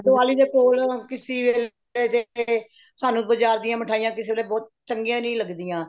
ਦੀਵਾਲੀ ਦੇ ਕੋਲ ਕਿਸੇ ਦੇ ਸਾਨੂੰ ਬਾਜ਼ਾਰ ਦੀਆਂ ਮਿਠਾਈਆਂ ਕਿਸੇ ਦੇ ਬਹੁਤ ਚੰਗੀਆਂ ਨਹੀਂ ਲੱਗਦੀਆਂ